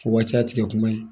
O waati y'a tigɛ kuma ye